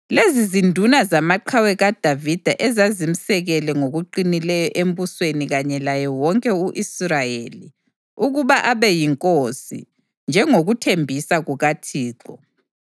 Lezi zinduna zamaqhawe kaDavida ezazimsekele ngokuqinileyo embusweni kanye laye wonke u-Israyeli, ukuba abe yinkosi, njengokuthembisa kukaThixo.